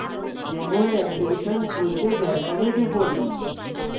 jmol application খুলতে dash home এ টিপুন